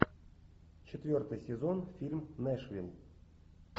четвертый сезон фильм нэшвилл